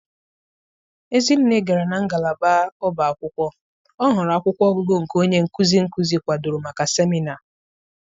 Ezinne gara na ngalaba ọba akwụkwọ, ọ hụrụ akwụkwọ ọgụgụ nke onye nkuzi nkuzi kwadoro maka seminarị.